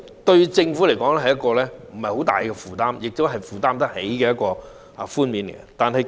對政府來說，這不算是一個很大的負擔，亦是負擔得起的寬免措施。